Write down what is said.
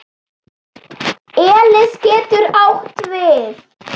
Elis getur átt við